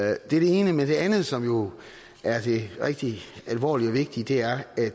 er det ene men det andet som jo er det rigtig alvorlige og vigtige er at